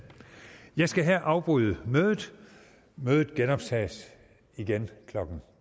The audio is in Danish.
jeg skal her afbryde mødet mødet genoptages klokken